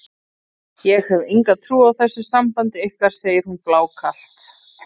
Ég hef enga trú á þessu sambandi ykkar, segir hún blákalt.